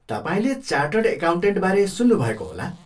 तपाईँले चार्टर्ड एकाउन्टेन्टबारे सुन्नुभएको होला?